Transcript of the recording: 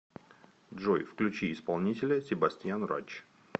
джой включи исполнителя себастьян рич